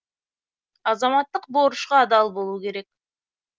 азаматтық борышқа адал болу керек